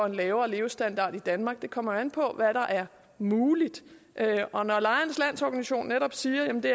en lavere levestandard i danmark det kommer jo an på hvad der er muligt og når lejernes lo netop siger at det